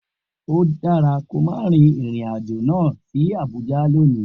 O dara ki o ma rin irin ajo lọ si Abuja loni!